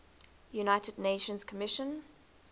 united nations commission